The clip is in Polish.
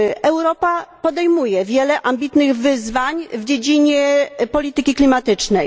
Europa podejmuje wiele ambitnych wyzwań w dziedzinie polityki klimatycznej.